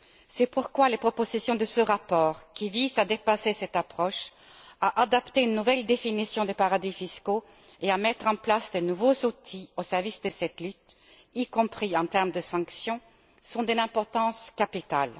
C'est pourquoi les propositions de ce rapport, qui visent à dépasser cette approche, à adopter une nouvelle définition des paradis fiscaux et à mettre en place de nouveaux outils au service de cette lutte, y compris en termes de sanctions, sont d'une importance capitale.